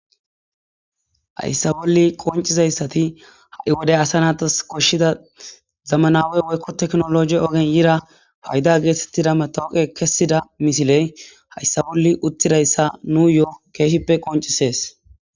hayssa bolli qoncizayssati ha7i wodey asa naatas koshshida zamanawey woykko teknologi ogen yira payda geetettida metooqe kessida misiley hayssa bolli uttidayssa nu yo7o keeshippe qoncisees